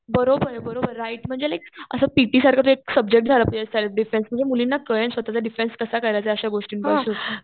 बरोबर राईट म्हणजे तो एक असं पिटी सारखं एक सब्जेक्ट झाला पाहिजे सेल्फ डिफेन्स म्हणजे मुलींना कालेलक स्वतःचा डिफेन्स कसा करायचा